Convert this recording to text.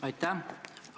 Aitäh!